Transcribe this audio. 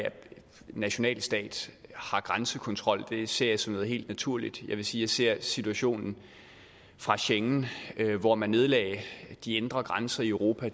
nationalstater har grænsekontrol det ser jeg som noget helt naturligt jeg vil sige ser situationen fra schengen hvor man nedlagde de indre grænser i europa